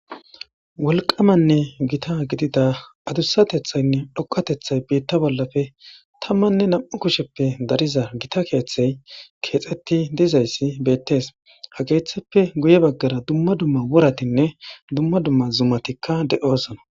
wolqamanne gita gidida adussatethaynne dhoqatethay biitta bollafe tammanne nam7u kusheppe dariza gita keeththey keexetti dizayssi beettees ha keeththeppe guye baggara dumma dumma wuratinne dumma dumma zumatikka de7osona